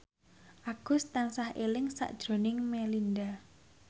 Agus tansah eling sakjroning Melinda